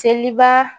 Seliba